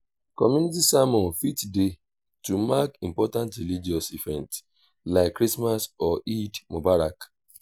community sermon fit dey to mark important religious events like christmas or eid mubarak